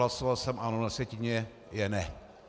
Hlasoval jsem ano, na sjetině je ne.